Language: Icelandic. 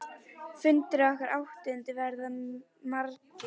Fundir okkar áttu eftir að verða margir.